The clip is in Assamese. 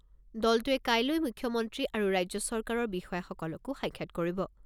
দলটোৱে কাইলৈ মুখ্যমন্ত্ৰী আৰু ৰাজ্য চৰকাৰৰ বিষয়াসকলকো সাক্ষাৎ কৰিব।